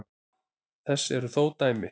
Þess eru þó dæmi.